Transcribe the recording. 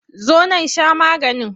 Zo nan sha maganin!